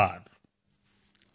DSVK